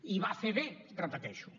i va fer bé ho repeteixo